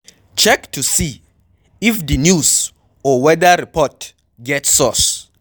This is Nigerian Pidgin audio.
Check to see if di news or weather report get source